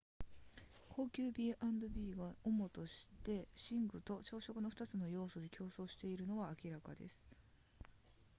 高級 b&b が主として寝具と朝食の2つの要素で競争しているのは明らかです